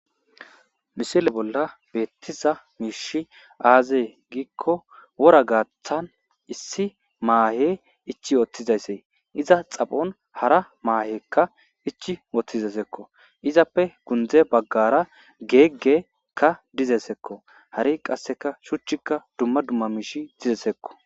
misile bolla beettiza miishi aazee giikko wora gaaththan issi maahe ichi yooththizayssee iza xaphon hara maahekka ichi woththizaysakko izappe gundeza baggara geeggeykka dizasakko hari qasseka shuchchikka dumma dumma miish dizasaykko